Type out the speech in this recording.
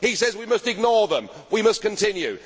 He says we must ignore them, we must continue.